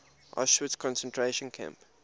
auschwitz concentration camp